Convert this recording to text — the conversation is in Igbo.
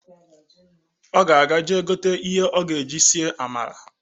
Ọ ga-eje gote ihe ọ ga-eji sie amala